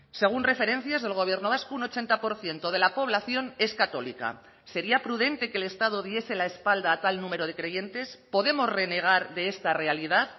según referencias del gobierno vasco un ochenta por ciento de la población es católica sería prudente que el estado diese la espalda a tal número de creyentes podemos renegar de esta realidad